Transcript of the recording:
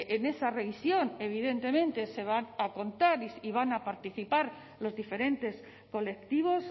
en esa revisión evidentemente se van a contar y van a participar los diferentes colectivos